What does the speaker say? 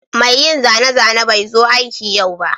mai yin zane-zane bai zo aiki yau ba